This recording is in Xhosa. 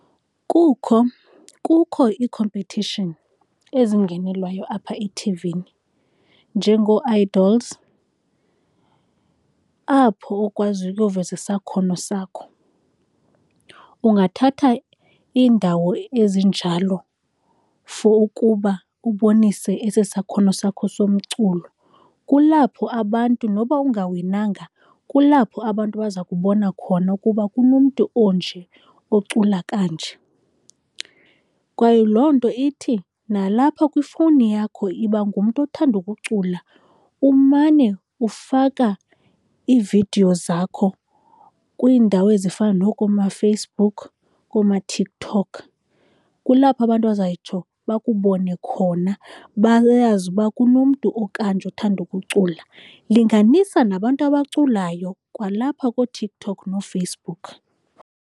Kukho, kukho ii-competition ezingenelwayo apha ethivini njengooIdols, apho ukwaziyo ukuyoveza isakhono sakho. Ungathatha iindawo ezinjalo for ukuba ubonise esi sakhono sakho somculo. Kulapho abantu noba ungawinanga kulapho abantu baza kubona khona ukuba kunomntu onje ocula kanje, kwaye loo nto ithi nalapha kwifowuni yakho yiba ngumntu othanda ukucula, umane ufaka iividiyo zakho kwiindawo ezifana nookomaFacebook, koomaTikTok. Kulapho abantu bazayitsho bakubone khona, bayazi uba kunomntu okanye nje othanda ukucula. Linganisa nabantu abaculayo kwalapha kooTikTok nooFacebook.